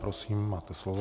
Prosím, máte slovo.